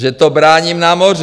Že to bráním na moři.